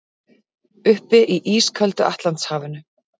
Uppi í ísköldu Atlantshafinu.